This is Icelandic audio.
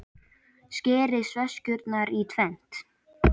Skerið sveskjurnar í tvennt.